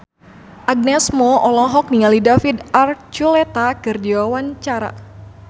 Agnes Mo olohok ningali David Archuletta keur diwawancara